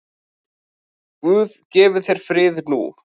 Guð gefi þér frið nú.